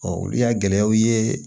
olu y'a gɛlɛyaw ye